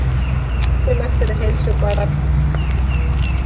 Það er mikilvægt fyrir heilsu barna að fá að leika sér.